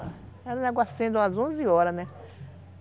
Era um negocinho de umas onze horas, né?